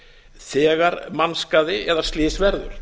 þegar mannskaði eða slys verður